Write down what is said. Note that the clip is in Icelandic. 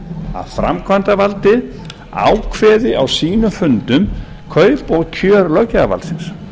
að framkvæmdavaldið ákveði á sínum fundum kaup og kjör löggjafarvaldsins